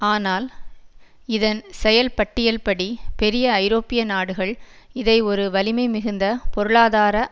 ஆனால் இதன் செயல்பட்டியல்படி பெரிய ஐரோப்பிய நாடுகள் இதை ஒரு வலிமைமிகுந்த பொருளாதார